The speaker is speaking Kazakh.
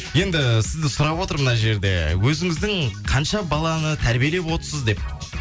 енді сізді сұрап отыр мына жерде өзіңіздің қанша баланы тәрбиелеп отсыз деп